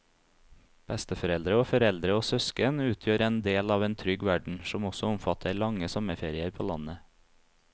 Besteforeldre og foreldre og søsken utgjør en del av en trygg verden som også omfatter lange sommerferier på landet.